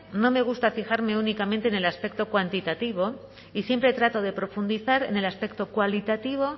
no me gusta fijarme únicamente en el aspecto cuantitativo y siempre trato de profundizar en el aspecto cualitativo